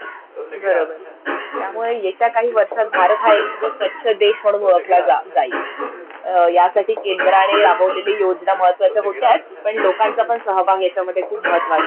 बरोबर. त्यामुळे येत्या काही वर्षांत भारत हा एक स्वच्छ देश म्हणून ओळखला जा जाईल. यासाठी केंद्राने राबवलेल्या योजना महत्वाच्या होत्याच पण लोकांचा पण सहभाग याच्यामद्धे खूप महत्वाचा होता.